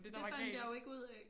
Det fandt jeg jo ikke ud af